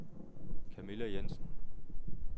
Kamilla Jensen